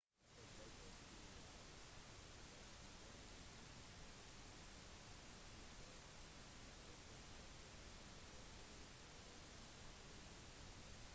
apple-direktør steve jobs avslørte enheten på scenen mens han tok iphone ut av lommen på buksen sin